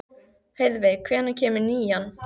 Heiðveig, hvenær kemur nían?